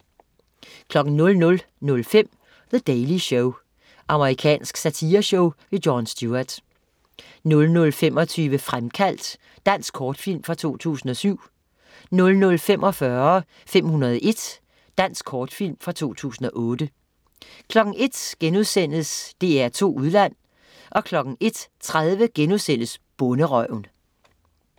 00.05 The Daily Show. Amerikansk satireshow. Jon Stewart 00.25 Fremkaldt. Dansk kortfilm fra 2007 00.45 501. Dansk kortfilm fra 2008 01.00 DR2 Udland* 01.30 Bonderøven*